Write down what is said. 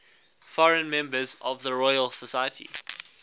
foreign members of the royal society